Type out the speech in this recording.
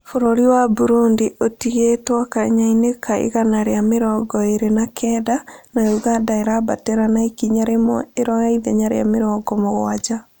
Bũrũri wa Burundi ĩtigĩtwo kanya-inĩ ka igana rĩa mĩrongo ĩrĩ na kenda na Ũganda ĩrambatĩra ikinya rĩmwe iroya ithenya rĩa mĩrongo mũgwanja